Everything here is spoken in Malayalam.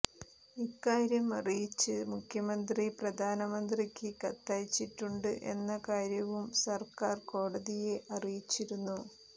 ഇക്കാര്യം അറിയിച്ച് മുഖ്യമന്ത്രി പ്രധാനമന്ത്രിക്ക് കത്തയച്ചിട്ടുണ്ട് എന്ന കാര്യവും സർക്കാർ കോടതിയെ അറിയിച്ചിരുന്നു